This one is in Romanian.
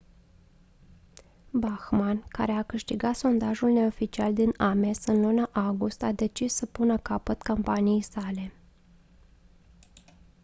bachmann care a câștigat sondajul neoficial din ames în luna august a decis să pună capăt campaniei sale